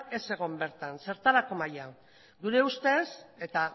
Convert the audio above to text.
ez egon bertan zertarako maila gure ustez eta